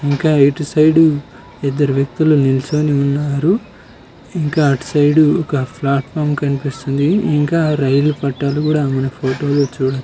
ఇంకా ఇటు సైడ్ ఇద్దరు వ్యక్తులు నించొని ఉన్నారు ఇంకా అటు సైడ్ ఒక ప్లాట్ఫారం కనిపిస్తుంది ఇంకా రైలు పట్టాలు కూడా మన ఫోటోలు చూడ --